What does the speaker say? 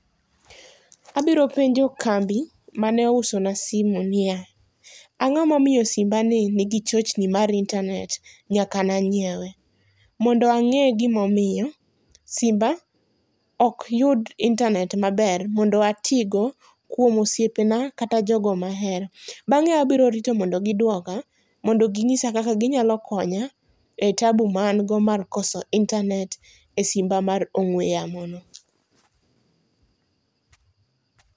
Abiro penjo kambi ma ne ousa na simo ni ya, ango ma omiyo simba ni ni gi chochni mar intanet nyaka ne angyiewe? Mondo ang'e gi ma omiyo simba ok yud intanet maber mondo ati go kuom osiepa na kata jogo ma ahero. Bang'e abiro rito mondo gi ng'isa kaka gi nyalo konya e taabu mar kosa intanet e simba mar ong'we yamo no.